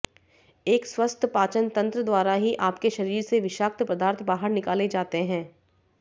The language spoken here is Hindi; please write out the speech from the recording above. एक स्वस्थ पाचन तंत्र द्वारा ही आपके शरीर से विषाक्त पदार्थ बाहर निकाले जाते हैं